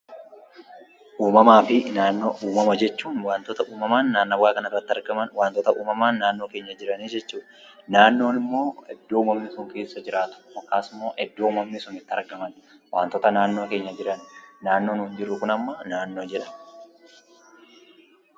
Uumama jechuun waantota uumamaan naannawaa kana irratti argaman yookiin jiran jechuudha. Naannoo immoo iddoo uumamni sun keessa jiraatu yookiin itti argaman jechuudha.